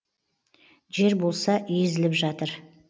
жер болса езіліватыр